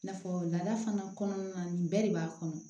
N'a fɔ laada fana kɔnɔna na nin bɛɛ de b'a kɔnɔ